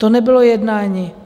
To nebylo jednání.